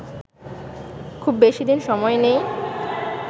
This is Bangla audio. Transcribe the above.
খুব বেশি দিন সময় নেই